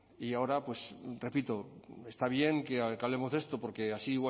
y ahora pues repito está bien que hablemos de esto porque así igual